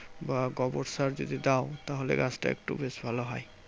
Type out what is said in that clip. বা গোবর সার যদি দাও তাহলে গাছটা একটু বেশ ভালো হয়।